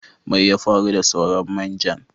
Mai ya faru da sauran main jan?